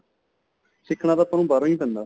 ਸਿੱਖਣਾ ਤਾਂ ਆਪਾਂ ਨੂੰ ਬਹਾਰੋ ਹੀ ਪੈਂਦਾ